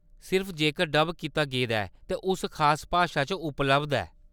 सिर्फ जेकर डब कीता गेदा ऐ ते उस खास भाशा च उपलब्ध ऐ।